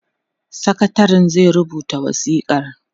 sakatarin zai rubuta wasikar